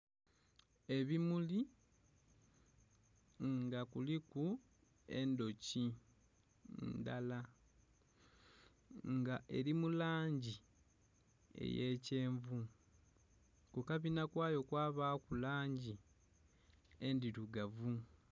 Ebimuli nga kuliku endhoki ndhala nga eri mulangi eye kyenvu ku kabinha kwayo kwabaku langi endhirugavu.